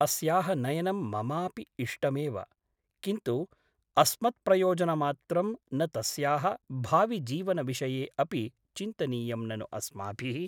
अस्याः नयनं ममापि इष्टमेव । किन्तु अस्मत्प्रयोजनमात्रं न तस्याः भाविजीवनविषये अपि चिन्तनीयं ननु अस्माभिः ?